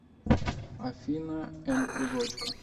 афина эннкузочка